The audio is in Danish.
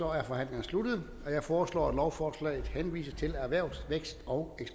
er forhandlingerne sluttet jeg foreslår at lovforslaget henvises til erhvervs vækst og